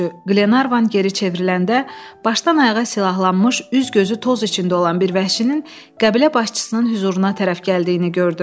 Qlenarvan geriyə çevriləndə başdan ayağa silahlanmış, üz-gözü toz içində olan bir vəhşinin qəbilə başçısının hüzuruna tərəf gəldiyini gördü.